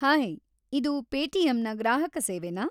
Hi, ಇದು ಪೇಟಿಎಮ್‌ನ ಗ್ರಾಹಕ ಸೇವೆನಾ?